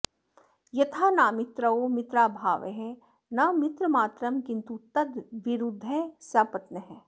यथा नामित्रौ मित्राभावः न मित्रमात्रं किन्तु तद्विरुद्धः सपत्नः